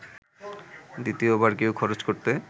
দ্বিতীয়বার কেউ খরচ করতে